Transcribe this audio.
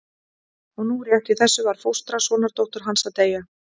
Og nú rétt í þessu var fóstra sonardóttur hans að deyja.